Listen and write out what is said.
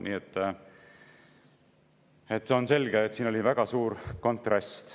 Nii et on selge, et siin oli väga suur kontrast.